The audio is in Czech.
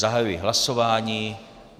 Zahajuji hlasování.